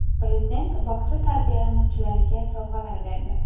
Prezident bog‘cha tarbiyalanuvchilariga sovg‘alar berdi.